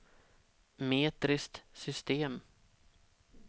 metriskt system